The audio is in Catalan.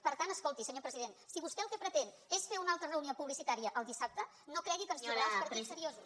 per tant escolti senyor president si vostè el que pretén és fer una altra reunió publicitària el dissabte no cregui que ens hi trobarà als partits seriosos